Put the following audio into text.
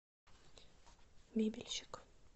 мебельщик